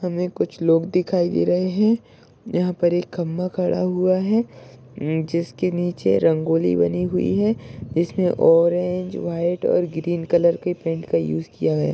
हमे कुछ लोग दिखाई दे रहे है। यहा पर एक खंबा खड़ा हुआ है। जिसके नीचे रंगोली बनी हुई है। इसमे ऑरेंज व्हाइट और ग्रीन कलर के पेंट का यूज किया गया।